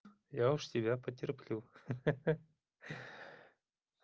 я уж тебя потерплю ха-ха